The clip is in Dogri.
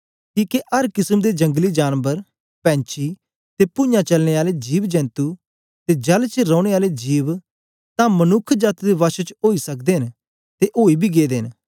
किके अर किसम दे जंगलीजानबर पैंछी ते पूञाँ चलने आले जिवजेंतु ते जल च रौने आले जिव तां मनुक्ख जाती दे वश च ओई सकदे न ते ओई बी गेदे न